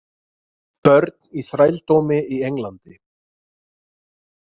Börn í þrældómi í Englandi